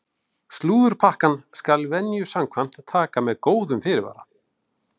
Slúðurpakkann skal venju samkvæmt taka með góðum fyrirvara!